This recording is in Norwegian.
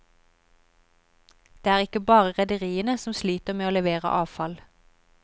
Der er ikke bare rederiene som sliter med å levere avfall.